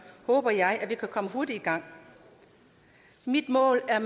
håber jeg vi kan komme hurtigt i gang mit mål er